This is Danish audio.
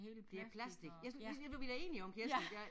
Det plastic jeg skulle ja var vi da enige om Kirsten ja